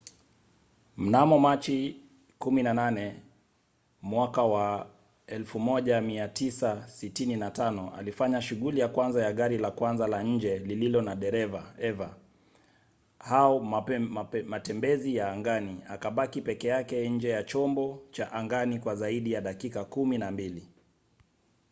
mnamo machi 18 1965 alifanya shughuli ya kwanza ya gari la kwanza la nje lililo na dereva eva au matembezi ya angani akabaki peke yake nje ya chombo cha angani kwa zaidi ya dakika kumi na mbili